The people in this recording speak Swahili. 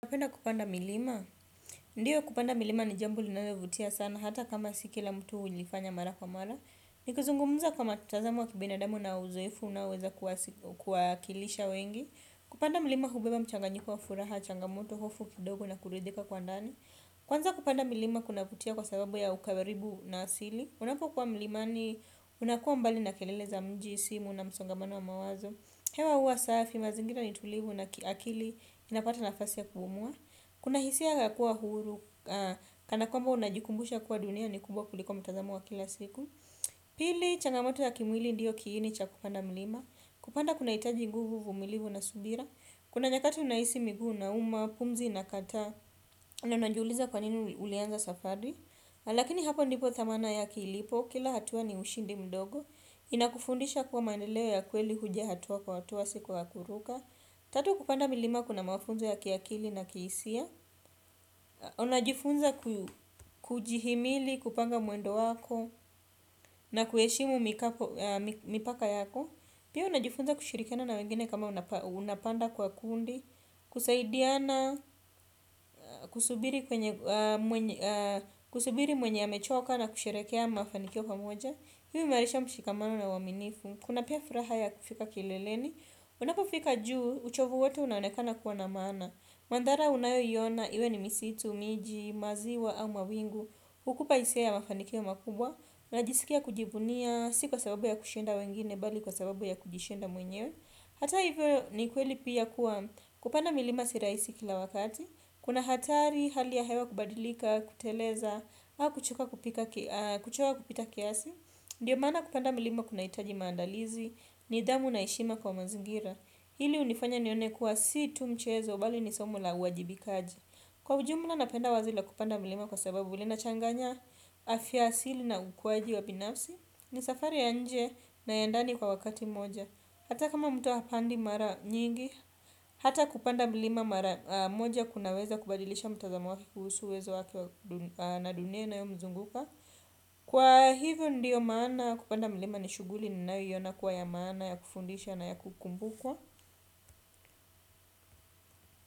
Kupenda kupanda milima, ndiyo kupenda milima ni jambo linalovutia sana hata kama siki la mtu ulifanya mara kwa mala. Ni kuzungumuza kwa matazamo wa kibinadamu na uzoefu unaoweza kuwakilisha wengi. Kupanda milima hubeba mchanganyiko wa furaha, changamoto, hofu, kidogo na kuredhika kwa ndani. Kwanza kupanda milima kunavutia kwa sababu ya ukaaribu na asili. Unapokuwa milimani unakuwa mbali na kelele za mji, simu na msongamano wa mawazo. Hewa uwa safi mazingira nitulivu na kiakili inapata nafasi ya kubumua kuna hisia ya kua huru kana kwamba unajikumbusha kua dunia ni kubwa kuliko mtazamo wa kila siku. Pili changamoto ya kimwili ndiyo kiini cha kupanda milima. Kupanda kuna itaji nguvu, uvumilivu na subira. Kuna nyakati unahisi miguu nauma, pumzi inakata na unanjuliza kwanini ulianza safari. Lakini hapo ndipo thamana yake ilipo, kila hatua ni ushindi mdogo. Inakufundisha kuwa mandeleo ya kweli huja hatua kwa hatua siku ya kuruka. Tatu kupanda milima kuna mafunzo ya kiakili na kiisia. Unajifunza kujihimili, kupanga mwendo wako. Na kueshimu mipaka yako. Pia unajifunza kushirikiana na wengine kama unapanda kwa kundi. Kusaidiana, kusubiri mwenye amechoka na kusherehekea mafanikio pamoja hi uimarisha mshikamano na uaminifu kuna pia furaha ya kufika kileleni. Unapofika juu, uchovu wote unanekana kuwa na maana. Mandhara unayoiona, iwe ni misitu, miji, maziwa au mawingu. Ukupa isia ya mafanikio makubwa unajisikia kujivunia, si kwa sababu ya kushinda wengine bali kwa sababu ya kujishinda mwenyewe. Hata hivyo ni kweli pia kuwa kupanda milima siraisi kila wakati. Kuna hatari hali ya hewa kubadilika, kuteleza awa kuchoka kupita kiasi ndio maana kupanda milima kunahitaji maandalizi nidhamu na heshima kwa mazingira hili hunifanya nione kuwa si tu mchezo bali ni somo la uwajibikaji kwa ujumla napenda wazo la kupanda milima kwa sababu linachanganya afia asili na ukwaji wa pinafsi. Ni safari ya nje na yandani kwa wakati mmoja. Hata kama mtu hapandi mara nyingi hata kupanda milima mara moja kunaweza kubadilisha mtazamo wake kuhusu wezo wake na dunia inayo mzunguka. Kwa hivyo ndiyo maana kupanda mlima ni shuguli ninayoiona kuwa ya maana ya kufundisha na ya kukumbukwa.